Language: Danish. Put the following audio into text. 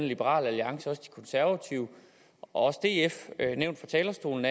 liberal alliance de konservative og df nævnt fra talerstolen